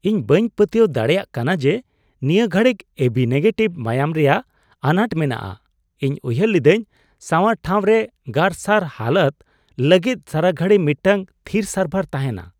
ᱤᱧ ᱵᱟᱹᱧ ᱯᱟᱹᱛᱤᱭᱟᱹᱣ ᱫᱟᱲᱮᱭᱟᱜ ᱠᱟᱱᱟ ᱡᱮ ᱱᱤᱭᱟᱹ ᱜᱷᱟᱹᱲᱤᱡ ᱮᱵᱤ ᱱᱮᱜᱮᱴᱤᱵᱷ ᱢᱟᱭᱟᱢ ᱨᱮᱭᱟᱜ ᱟᱱᱟᱴ ᱢᱮᱱᱟᱜᱼᱟ ᱾ ᱤᱧ ᱩᱭᱦᱟᱹᱨ ᱞᱤᱫᱟᱹᱧ ᱥᱟᱶᱟᱨ ᱴᱷᱟᱶ ᱨᱮ ᱜᱟᱨᱥᱟᱨ ᱦᱟᱞᱚᱛ ᱞᱟᱹᱜᱤᱫ ᱥᱟᱨᱟᱜᱷᱟᱲᱤ ᱢᱤᱫᱴᱟᱝ ᱛᱷᱤᱨ ᱥᱟᱨᱵᱷᱟᱨ ᱛᱟᱦᱮᱱᱟ ᱾